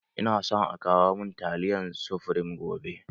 Ina so a kawo mun taliyan sufreme gobe